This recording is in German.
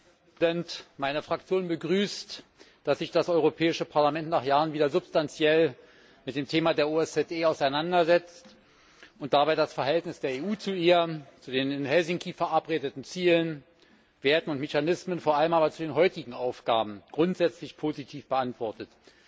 Herr Präsident! Meine Fraktion begrüßt, dass sich das Europäische Parlament nach Jahren wieder substanziell mit dem Thema der OSZE auseinandersetzt und dabei das Verhältnis der EU zu ihr, zu den in Helsinki verabredeten Zielen, Werten und Mechanismen, vor allem aber zu den heutigen Aufgaben grundsätzlich positiv beantwortet.